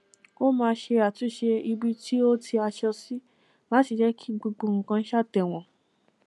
ó máa ń ṣe àtúnṣe ibi tí ó tì aṣọ sí láti jẹ kí gbogbo nnkan ṣàtẹwọn